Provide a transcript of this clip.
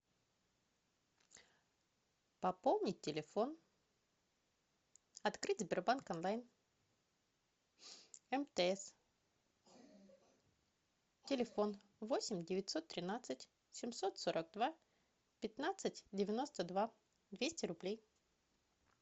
пополнить телефон открыть сбербанк онлайн мтс телефон восемь девятьсот тринадцать семьсот сорок два пятнадцать девяносто два двести рублей